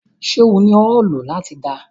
Ṣe o ni òòlù lati da?